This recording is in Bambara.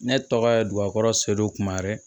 Ne tɔgɔ ye dugaro sedu kumayɛrɛ